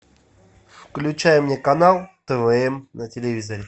включай мне канал твм на телевизоре